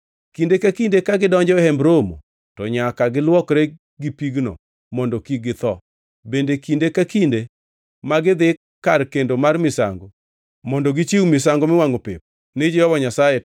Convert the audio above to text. Kinde ka kinde ka gidonjo e Hemb Romo, to nyaka giluokre gi pigno mondo kik githo. Bende kinde ka kinde ma gidhi kar kendo mar misango mondo gichiw misango miwangʼo pep ni Jehova Nyasaye,